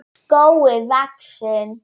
skógi vaxinn.